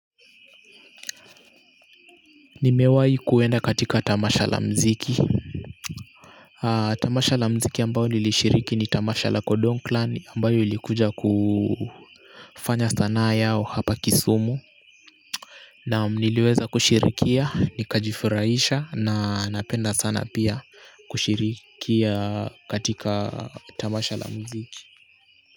Nimewahi kuenda katika tamasha la muziki tamasha la muziki ambayo nilishiriki ni tamasha la kodong klan ambayo ilikuja kufanya sanaa yao hapa Kisumu. Naam niliweza kushirikia nikajifurahisha na napenda sana pia kushirikia katika tamasha la muziki.